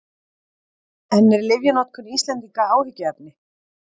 En er lyfjanotkun Íslendinga áhyggjuefni?